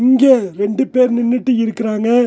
இங்க ரெண்டு பேர் நின்னுட்டு இருக்குறாங்க.